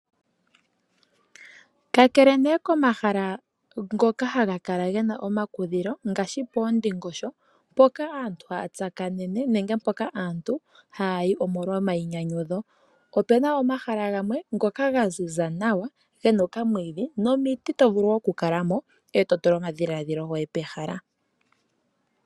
Kakele ne komahala ngoka haga kala gena omakudhilo ngaashi poondingosho mpoka aantu haya tsakanene nenge mpoka aantu haya yi pena omayinyanyudho. Opena woo omahala gamwe ngoka gaziza nawa gena okamwiidhi nomiti tovulu okukalano ee totula omadhiladhilo goye pehala.